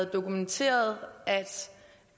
dokumenteret at